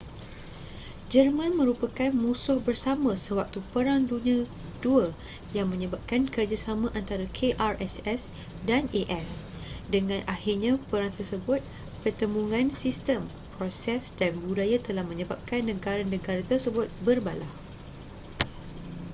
jerman merupakan musuh bersama sewaktu perang dunia 2 yang menyebabkan kerjasama antara krss dan as dengan akhirnya perang tersebut pertembungan sistem proses dan budaya telah menyebabkan negara-negara tersebut berbalah